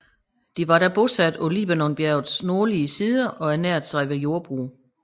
De var da bosatte på Libanonbjergets nordlige sider og ernærede sig ved jordbrug